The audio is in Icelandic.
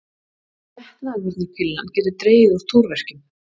Getnaðarvarnarpillan getur dregið úr túrverkjum.